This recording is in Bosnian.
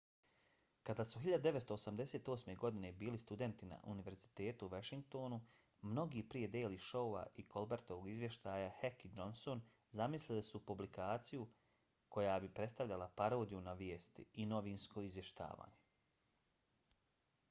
kad su 1988. godine bili studenti na univerzitetu u washingtonu mnogo prije daily showa i colbertovog izvještaja heck i johnson zamislili su publikaciju koja bi predstavljala parodiju na vijesti—i novinsko izvještavanje